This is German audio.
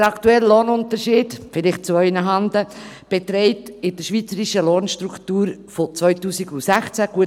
Der aktuelle Lohnunterschied, dies vielleicht zu Ihren Handen, beträgt in der schweizerischen Lohnstruktur von 2016 14,6 Prozent.